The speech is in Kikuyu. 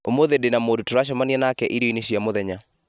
ũmũthĩ ndĩna mũndũ tũracemania nake irio-inĩ cia mũthenya